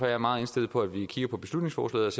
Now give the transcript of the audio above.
jeg meget indstillet på at vi kigger på beslutningsforslaget